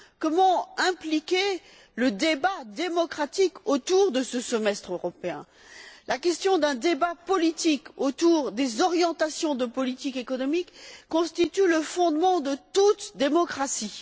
Comment impliquer le débat démocratique autour de ce semestre européen? La question d'un débat politique autour des orientations de politique économique constitue le fondement de toute démocratie.